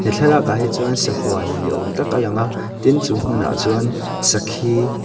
thlalakah hi chuan sahuan ni awm tak a lang a tin chu hmunah chuan sakhi--